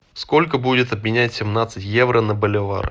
сколько будет обменять семнадцать евро на боливар